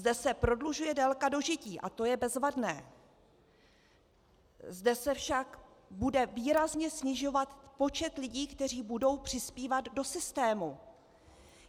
Zde se prodlužuje délka dožití, a to je bezvadné, zde se však bude výrazně snižovat počet lidí, kteří budou přispívat do systému.